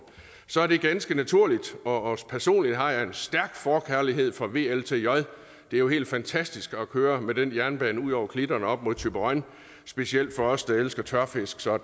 så det er ganske naturligt og personligt har jeg en stærk forkærlighed for vltj det er jo helt fantastisk at køre med den jernbane ud over klitterne og op mod til thyborøn specielt for os der elsker tørfisk så